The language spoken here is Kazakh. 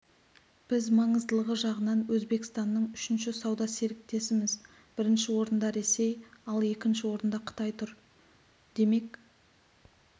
біз маңыздылығы жағынан өзбекстанның үшінші сауда серіктесіміз бірінші орында ресей ал екінші орында қытай тұр демек